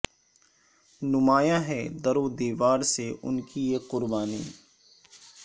نمایاں ہے در و دیوار سے ان کی یہ قربانی